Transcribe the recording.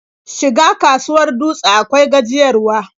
Shiga kasuwar Dutse akwai gajiyarwa.